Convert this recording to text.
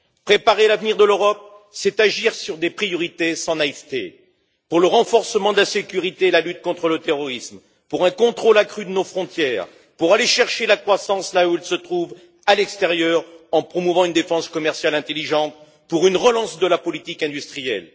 Préparer l'avenir de l'Europe, c'est agir sur des priorités sans naïveté pour le renforcement de la sécurité et de la lutte contre le terrorisme, pour un contrôle accru de nos frontières, pour aller chercher la croissance là où elle se trouve, à l'extérieur, en promouvant une défense commerciale intelligente, et pour une relance de la politique industrielle.